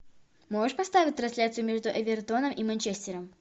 можешь поставить трансляцию между эвертоном и манчестером